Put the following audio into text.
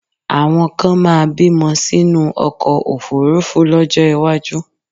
Àwọn kan máa bímọ sínú ọkọ̀ òfuurufú lọ́jọ́ iwájú